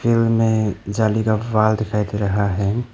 Field मे जाली का वाल दिखाई दे रहा है।